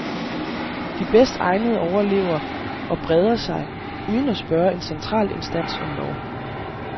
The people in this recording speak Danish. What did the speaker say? De bedst egnede overlever og breder sig, uden at spørge en central instans om lov.